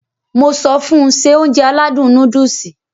Mo sọ fun Se Ounjẹ aládùn nóódùsì